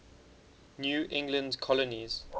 new england colonies